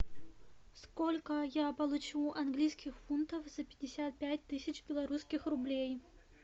сколько я получу английских фунтов за пятьдесят пять тысяч белорусских рублей